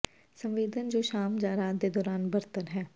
ਸੰਵੇਦਨਾ ਜੋ ਸ਼ਾਮ ਜਾਂ ਰਾਤ ਦੇ ਦੌਰਾਨ ਬਦਤਰ ਹਨ